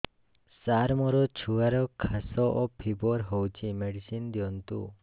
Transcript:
ସାର ମୋର ଛୁଆର ଖାସ ଓ ଫିବର ହଉଚି ମେଡିସିନ ଦିଅନ୍ତୁ